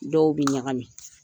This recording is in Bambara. Dɔw bi ɲagamin.